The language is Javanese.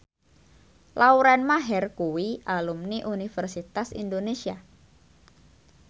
Lauren Maher kuwi alumni Universitas Indonesia